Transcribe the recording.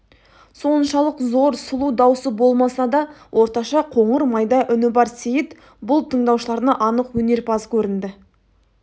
соншалық зор сұлу даусы болмаса да орташа қоңыр майда үні бар сейіт бұл тыңдаушыларына анық өнерпаз көрінді